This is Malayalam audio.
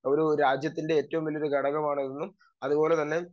സ്പീക്കർ 2 ഒരു രാജ്യത്തിൻറെ ഏറ്റവും വല്യ ഘടകമാണെന്നും അതുപോലെതന്നെ